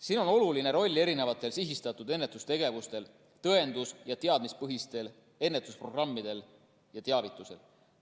Siin on oluline roll sihistatud ennetustegevustel, tõendus‑ ja teadmispõhistel ennetusprogrammidel ja teavitusel.